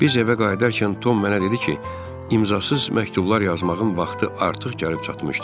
Biz evə qayıdarkən Tom mənə dedi ki, imzasız məktublar yazmağın vaxtı artıq gəlib çatmışdır.